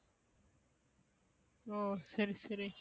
ஒ சரி சரி